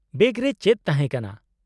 -Bag ᱨᱮ ᱪᱮᱫ ᱛᱟᱦᱮᱸ ᱠᱟᱱᱟ ?